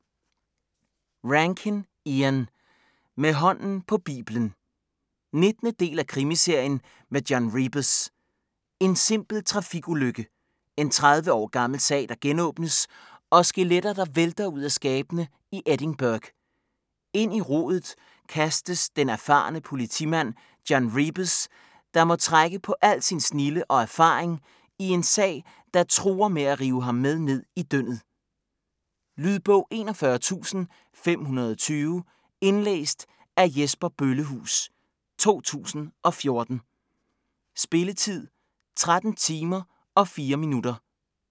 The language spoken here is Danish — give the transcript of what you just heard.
Rankin, Ian: Med hånden på biblen 19. del af krimiserien med John Rebus. En simpel trafikulykke. En 30 år gammel sag der genåbnes, og skeletter, der vælter ud af skabene i Edinburgh. Ind i rodet kastes den erfarne politimand John Rebus, der må trække på al sin snilde og erfaring i en sag, der truer med at rive ham med ned i dyndet. Lydbog 41520 Indlæst af Jesper Bøllehuus, 2014. Spilletid: 13 timer, 4 minutter.